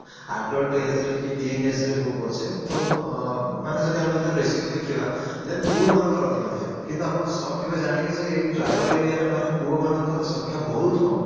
adult age ରେ କି teen age ରେ ହଉ ପଛେ ତ ମାନେ ଯଦି ଆମେ ଯଦି ratio କୁ ଦେଖିବା then ପୁଅ ମାନଙ୍କର ଅଧିକ ଥାଏ କିନ୍ତୁ ଆପଣ shock ହେବେ ଜାଣିକି ଯେ ଏଇ tribal area ରେ ମାନେ ପୁଅମାନଙ୍କର ସଂଖ୍ୟା ବହୁତ କମ